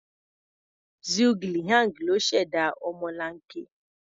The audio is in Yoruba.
Zhuge Liang ló ṣẹ̀dá ọmọlanke.